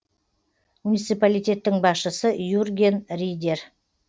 муниципалитеттің басшысы юрген ридер